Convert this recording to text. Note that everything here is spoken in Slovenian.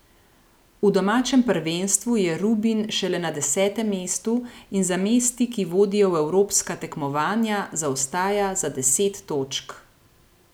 V domačem prvenstvu je Rubin šele na desetem mestu in za mesti, ki vodijo v evropska tekmovanja, zaostaja za deset točk.